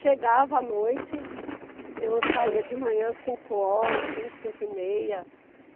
Chegava à noite, eu saía de manhã cinco horas, cinco, cinco e meia.